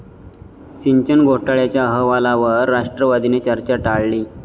सिंचन घोटाळ्याच्या अहवालावर राष्ट्रवादीने चर्चा टाळली